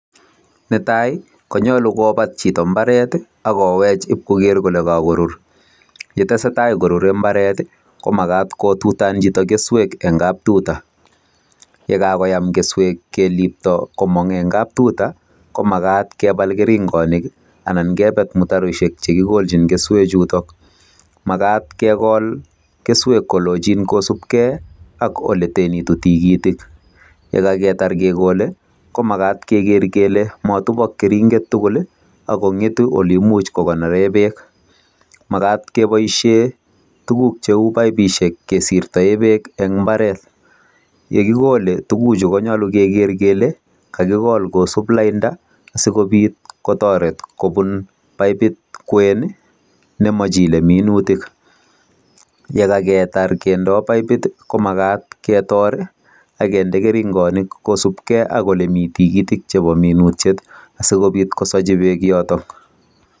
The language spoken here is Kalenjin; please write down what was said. Netai, konyolu kobat chito mbaret, akowech ipkoker kole kakorur. Yetesetai korure mbaret, ko makat kotutan chito keswek eng kaptuta. Yekakoyam keswek kelipto komong eng kaptuta, ko makat kebal keringonik, anan kebet mutaroiseik che kikolchin keswek chutok. Makat kekol keswek kolochin kosupkei ak ole tenitu tigitik. Yekaketar kekole, ko makat keker kele matupok keringet tugul, akong'etu ole imuch kokonore beek. Makat keboisie tuguk cheu paipishek kesirtae beek eng mbaret. Yekikole tuguchu, konyolu keker kele kakikol kosup lainda, sikobit kotoret kobun paipit kwen nemachile minutik. Yekaketar kendoi paipit, ko makat ketor, akende keringonik kosupkei ak ole miii tigitik chebo minutiet. Asikobit kosachi beek yotok.